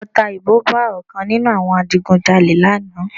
Ọta ìbọn ba ọ̀kan nínú àwọn adigun jalè lánàá